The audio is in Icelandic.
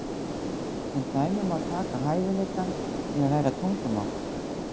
Sem dæmi má taka hæfileikann til að læra tungumál.